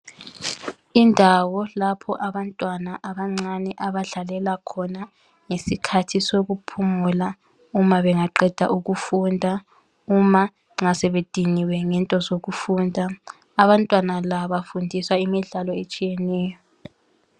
Indawo lapho abantwana abancani abadlalela khona ngesikhathi sokuphumula uma bengaqeda ukufunda uma nxa sebediniwe ngento zokufunda abantwana la bafundiswa imidlalo etshiyeneyo.